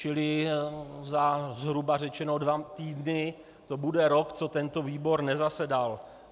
Čili za zhruba řečeno dva týdny to bude rok, co tento výbor nezasedal.